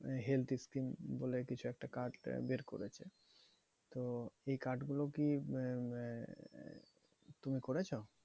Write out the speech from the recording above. Health scheme বলে কিছু একটা card বের করেছে। তো এই card গুলো কি আহ তুমি করেছো?